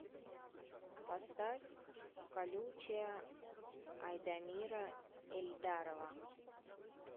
поставь колючая айдамира эльдарова